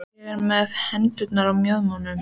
Ég er með hendurnar á mjöðmunum.